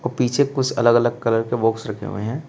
पीछे कुछ अलग अलग कलर के बॉक्स रखे हुए हैं।